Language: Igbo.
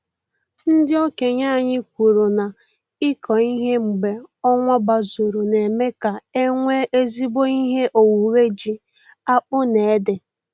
Ndị okenye anyị kwuru na ịkọ ihe mgbe ọnwa gbazuru na-eme ka enwe ezigbo ihe owuwe ji, akpụ na ede